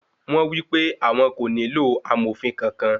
Wọ́n wípé àwọn kò nílò amòfin kankan.